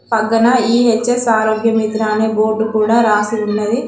పక్కన ఈ_హెచ్_ఎస్ ఆరోగ్య మిత్రా అని బోర్డు కూడా రాసి ఉన్నది.